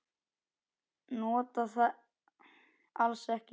Nota það alls ekki.